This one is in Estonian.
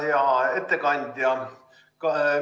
Hea ettekandja!